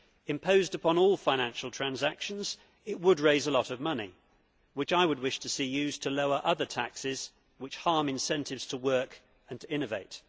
Imposed upon all financial transactions, it would raise a lot of money which I would wish to see used to lower other taxes which harm incentives to work and to innovate.